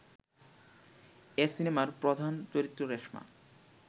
এ সিনেমার প্রধান চরিত্র রেশমা